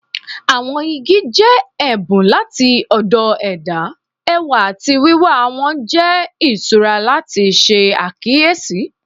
Awọn igi jẹ ẹbun lati ọdọ ẹda, ẹwa ati wiwa wọn jẹ iṣura lati ṣe akiyesi.